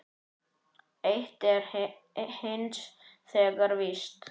Eitt er hins vegar víst.